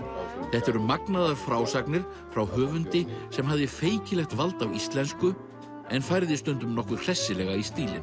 þetta eru magnaðar frásagnir frá höfundi sem hafði feikilegt vald á íslensku en færði stundum nokkuð hressilega í stílinn